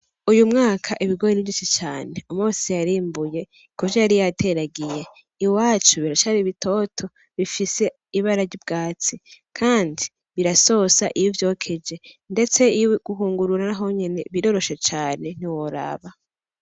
Uyu mwaka ibigori ni vyinshi cane umwe wese yarimbuye kuvyo yari yateragiye iwacu biracari bitoto bifise ibara ry' ubwatsi kandi birasosa iyo uvyokeje ndetse guhungurura nahonyene biroroshe cane ntiworaba.